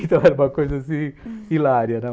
Então era uma coisa, assim, hilária, né?